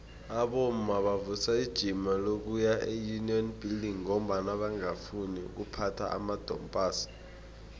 abomma bavusa ijima lokuya eunion buildings ngombana bangafuni ukuphatha amadompass